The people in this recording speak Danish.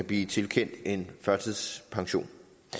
blive tilkendt en førtidspension